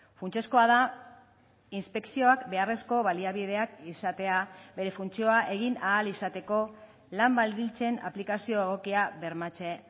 funtsezkoa da inspekzioak beharrezko baliabideak izatea bere funtzioa egin ahal izateko lan baldintzen aplikazio egokia bermatze